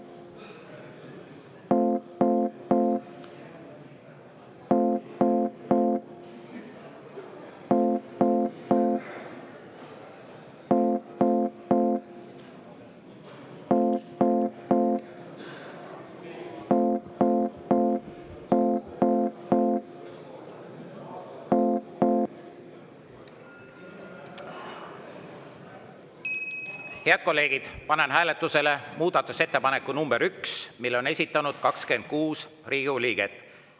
Head kolleegid, panen hääletusele muudatusettepaneku nr 1, mille on esitanud 26 Riigikogu liiget.